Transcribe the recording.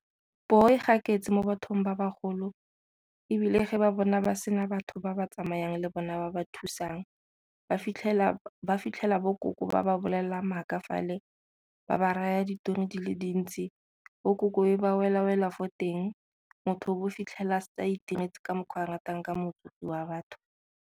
Poo e gaketse mo bathong ba bagolo ebile ge ba bona ba sena batho ba ba tsamayang le bona ba ba thusang ba fitlhela bo koko ba ba bolelelang maaka fale, ba ba raya ditori di le dintsi. Bo koko e be ba wela-wela fo teng, motho o bo o fitlhela setse a itiretse ka mokgwa a ratang ka motsofe wa batho.